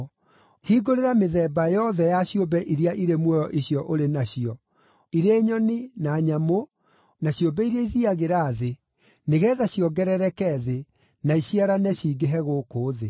Hingũrĩra mĩthemba yothe ya ciũmbe iria irĩ muoyo icio ũrĩ nacio: irĩ nyoni, na nyamũ, na ciũmbe iria ithiiagĩra thĩ, nĩgeetha ciongerereke thĩ, na iciarane cingĩhe gũkũ thĩ.”